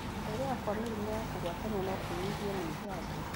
Gũthegea kwa mĩrimũ ya kũgwatanio nokũnyihio nĩ njanjo